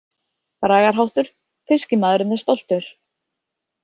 Bragarháttur: „Fiskimaðurinn er stoltur“.